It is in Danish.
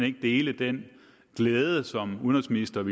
ikke dele den glæde som udenrigsministeren